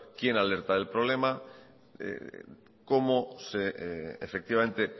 quién alerta el problema cómo efectivamente